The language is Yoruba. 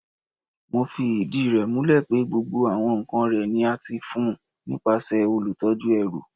Mo fi idi rẹ mulẹ pe gbogbo awọn nkan rẹ ni a ti fi fun nipasẹ olutọju ẹru